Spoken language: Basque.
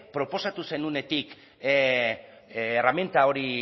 proposatu zenuenetik erreminta hori